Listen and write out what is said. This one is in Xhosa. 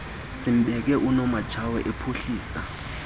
sembeko unomatshawe uphuhlisa